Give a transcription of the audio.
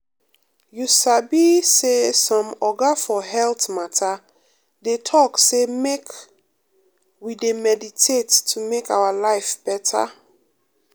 you sabi um say some oga for health matter dey talk say make um we dey meditate to make our life better.